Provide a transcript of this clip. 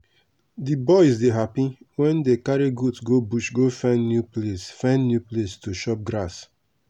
the boys dey happy wen dey carry goat go bush go find new place find new place to chop grass